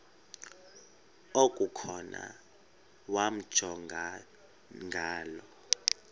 okukhona wamjongay ngaloo